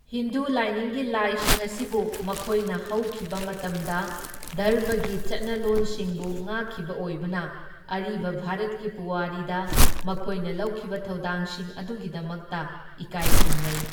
ꯍꯤꯟꯗꯨ ꯂꯥꯏꯅꯤꯡꯒꯤ ꯂꯥꯏꯁꯤꯡ ꯑꯁꯤꯕꯨ, ꯃꯈꯣꯏꯅ ꯍꯧꯈꯤꯕ ꯃꯇꯝꯗ ꯙꯔꯃꯒꯤ ꯆꯠꯅꯂꯣꯟꯁꯤꯡꯕꯨ ꯉꯥꯛꯈꯤꯕ ꯑꯣꯏꯕꯅ, ꯑꯔꯤꯕ ꯚꯥꯔꯠꯀꯤ ꯄꯨꯋꯥꯔꯤꯗ ꯃꯈꯣꯢꯅ ꯂꯧꯈꯤꯕ ꯊꯧꯗꯥꯡꯁꯤꯡ ꯑꯗꯨꯒꯤꯗꯃꯛꯇ ꯏꯀꯥꯢ ꯈꯨꯝꯅꯩ꯫